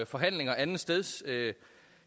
forhandlinger andetsteds